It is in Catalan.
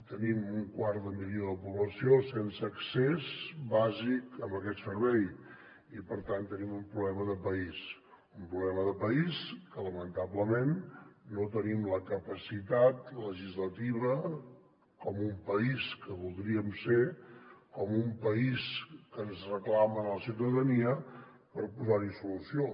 tenim un quart de milió de població sense accés bàsic a aquest servei i per tant tenim un problema de país un problema de país que lamentablement no tenim la capacitat legislativa com un país que voldríem ser com un país que ens reclama la ciutadania per posar hi solució